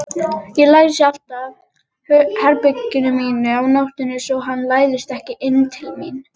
Ég læsi alltaf herberginu mínu á nóttunni svo hann læðist ekki inn til mín.